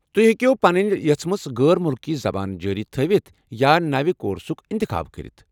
تُہۍ ہیٚکِو پنٕنۍ یژھمٕژ غٲر مُلكی زبان جٲری تھٲوِتھ یا نوِ کورسُك انتخاب كٔرِتھ ۔